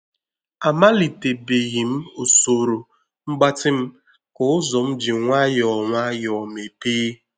Amalite beghi m usoro mgbatị m ka ụzọ m ji nwayọọ nwayọọ mepee